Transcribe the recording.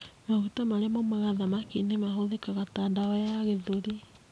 Maguta marĩa maumaga thamaki-inĩ nĩ mahũthĩkaga ta ndawa ya gĩthũri.